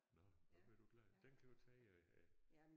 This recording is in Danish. Nåh nu bliver du glad den kan jo tage øh